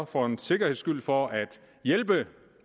for en sikkerheds skyld for at hjælpe